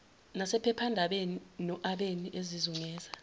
nasephephandabeni noabeni ezizungeza